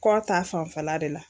Kɔ ta fanfɛla de la.